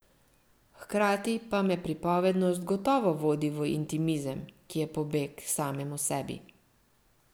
Hkrati pa me pripovednost gotovo vodi v intimizem, ki je pobeg k samemu sebi.